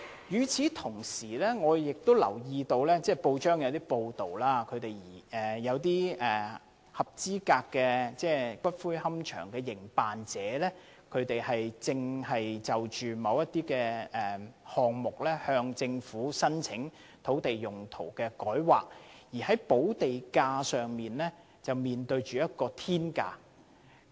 與此同時，我留意到有報章報道指，一些合資格龕場的營辦者正就着若干項目向政府申請改劃土地用途，但在商討補地價過程中卻面對着"天價"。